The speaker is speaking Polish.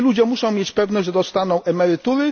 Osoby te muszą mieć pewność, że dostaną emerytury.